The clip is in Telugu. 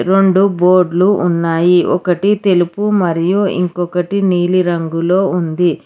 రెండు బోర్డ్లు ఉన్నాయి ఒకటి తెలుపు మరియు ఇంకొకటి నీలి రంగులో ఉంది.